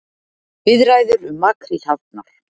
Viðræður um makríl hafnar